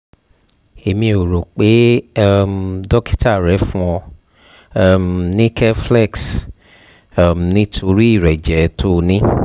èmi ò rò pé um dókítà rẹ fún ọ um ní keflex um nítorí ìrẹ́jẹ tó o ní